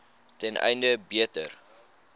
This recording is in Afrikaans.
ten einde beter